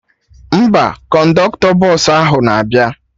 Mba, kọndọktọ bọsụ ahụ na-abịa